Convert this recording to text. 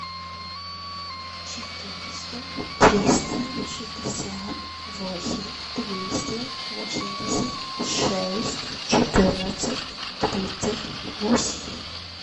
четыреста триста шестьдесят восемь двести восемьдесят шесть четырнадцать тридцать восемь